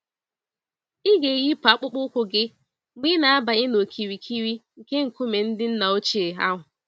Ịga-eyipụ akpụkpọ ụkwụ gị mgbe ị na-abanye n'okirikiri nke nkume ndị nna ochie ahụ